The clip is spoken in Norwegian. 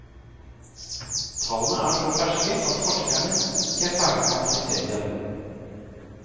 Tallene er så ferske at forskere ikke er ferdig med å analysere dem.